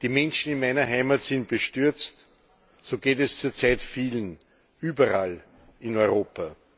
Die Menschen in meiner Heimat sind bestürzt, so geht es zurzeit vielen, überall in Europa.